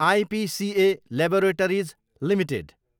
IPCA laboratories Ltd